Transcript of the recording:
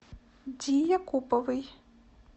ди якуповой